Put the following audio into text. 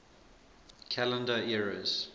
calendar eras